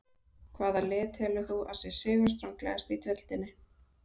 Hvaða lið telur þú að sé sigurstranglegast í deildinni?